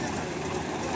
Allaha qurban olum.